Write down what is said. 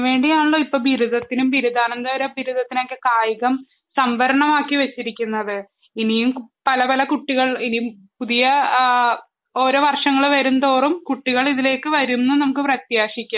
അതിനു വേണ്ടിയാണല്ലോ ഇപ്പൊ ബിരുദത്തിനു ബിരുദാനന്തര ബിരുദത്തിനുമൊക്കെ കായികം സംവരണമാക്കി വച്ചിരിക്കുന്നത് .ഇനിയും പല പല കുട്ടികൾ ഇനിയും ഓരോ വർഷങ്ങൾ വരുംതോറും കുട്ടികൾ ഇതിലേക്ക് വരുമെന്ന് നമുക്ക് പ്രത്യാശിക്കാം